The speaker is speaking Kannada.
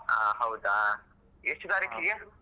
ಹ ಹೌದಾ ಎಷ್ಟು ತಾರೀಕಿಗೆ?